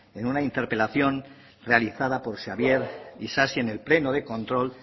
en una interpelación realizada por xabier isasi en el pleno de control